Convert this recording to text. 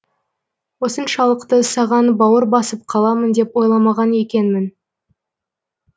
осыншалықты саған бауыр басып қаламын деп ойламаған екенмін